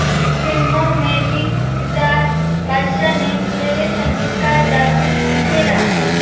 फिल्मों में भी सितार बादशाह ने सुरीले संगीत का जादू बिखेरा